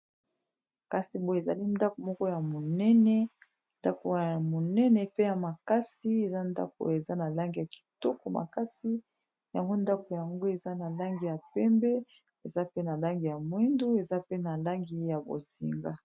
Kasi boye ezali ndako moko ya monene ndako ya monene pe ya makasi eza ndako oyo eza na langi ya kitoko makasi yango ndako yango eza na langi ya pembe eza pe na langi ya mwindu eza pe na langi ya bozinga.